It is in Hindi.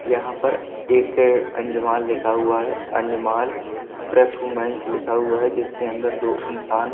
यहां पर एक अजमन लिखा हुआ है अंजमाल। प्रेष वूमेन लिखा हुआ है जिसके अंदर दो इंसान --